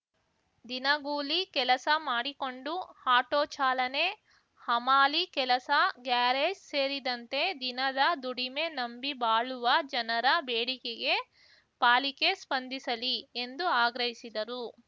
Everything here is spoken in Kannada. ದಿನಗೂಲಿ ಕೆಲಸ ಮಾಡಿಕೊಂಡು ಆಟೋ ಚಾಲನೆ ಹಮಾಲಿ ಕೆಲಸ ಗ್ಯಾರೇಜ್‌ ಸೇರಿದಂತೆ ದಿನದ ದುಡಿಮೆ ನಂಬಿ ಬಾಳುವ ಜನರ ಬೇಡಿಕೆಗೆ ಪಾಲಿಕೆ ಸ್ಪಂದಿಸಲಿ ಎಂದು ಆಗ್ರಹಿಸಿದರು